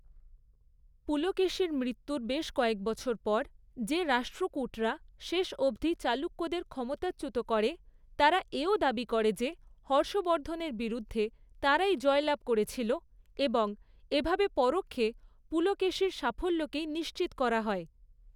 পুলকেশীর মৃত্যুর বেশ কয়েক বছর পর যে রাষ্ট্রকূটরা শেষ অবধি চালুক্যদের ক্ষমতাচ্যুত করে, তারা এ ও দাবি করে যে হর্ষবর্ধনের বিরুদ্ধে তারাই জয়লাভ করেছিল, এবং এভাবে পরোক্ষে পুলকেশীর সাফল্যকেই নিশ্চিত করা হয়।